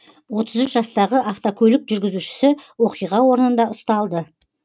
отыз үш жастағы автокөлік жүргізушісі оқиға орнында ұсталды